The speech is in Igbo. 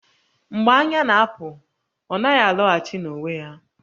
Mgbe anya na-apụ, ọ naghị alọghachi n'onwe ya